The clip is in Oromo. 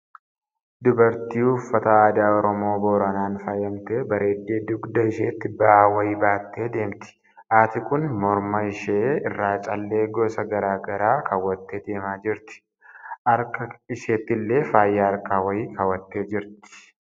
Dubartii uffata aadaa Oromoo boranaan faayamtee bareeddee, dugda isheetti ba'aa wayii baattee deemti. Haati kun morma ishee irraa callee gosa garaa garaa kaawwattee deemaa jirti. Haarka isheettillee faaya harkaa wayii kaawwattee jirti.